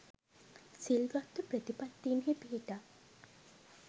සිල්වත් ව ප්‍රතිපත්තීන්හි පිහිටා